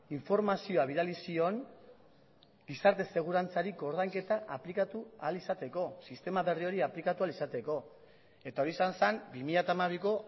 informazioa bidali zion gizarte segurantzari koordainketa aplikatu ahal izateko sistema berri hori aplikatu ahal izateko eta hori izan zen bi mila hamabiko